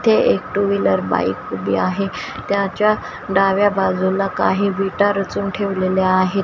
इथे एक two wheeler bike उभी आहे त्याच्या डाव्या बाजूला काही विटा रचून ठेवलेल्या आहेत.